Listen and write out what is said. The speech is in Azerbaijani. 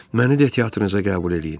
Məni də teatrınıza qəbul eləyin.